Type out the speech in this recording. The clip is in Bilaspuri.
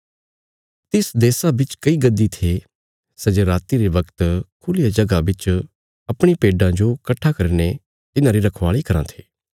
तिस देशा बिच कई गद्दी थे सै जे राति रे बगत खुल्लिया जगह बिच अपणी भेडां जो कट्ठा करीने तिन्हारी रखवाली कराँ थे